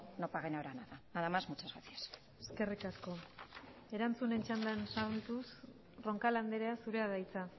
no paguen ahora nada nada más muchas gracias eskerrik asko erantzunen txandan sartuz roncal andrea zurea da hitza